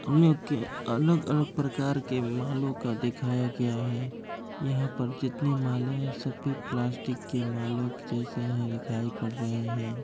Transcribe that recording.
अलग-अलग प्रकार के मालो का दिखाया गया है। यहा पर जितने माले हैं सभी प्लास्टिक के मालो के जैसे है दिखाई पड़ रहै हैं।